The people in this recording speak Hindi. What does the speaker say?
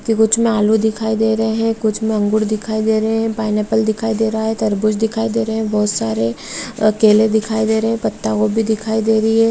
कुछ में आलू दिखाई दे रहे हैं कुछ में अंगूर दिखाई दे रहे हैं पाइनएप्पल दिखाई दे रहा है तरबूज दिखाई दे रहे हैं बहुत सारे केले दिखाई दे रहे हैं पत्ता-गोभी दिखाई दे रही है।